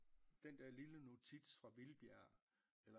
Den der lille notits fra Hvidbjerg eller